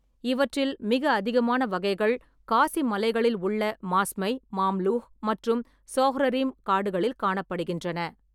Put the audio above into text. இவற்றில், மிக அதிகமான வகைகள் காசி மலைகளில் உள்ள மாஸ்மை, மாம்லூ மற்றும் சோஹ்ரரிம் காடுகளில் காணப்படுகின்றன.